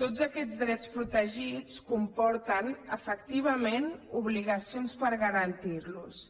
tots aquests drets protegits comporten efectivament obligacions per garantir los